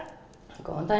góðan dag